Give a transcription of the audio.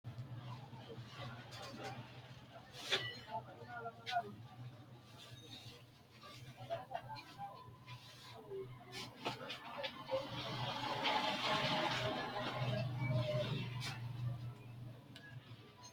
Kowiicho hiito dargi leellanni no ? ulayidi maa lawannoho ? maa xawisse kultanni noote ? kaameru manchi hiisse haarino misileeti?